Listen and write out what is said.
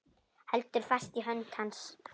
Heldur fast í hönd hans.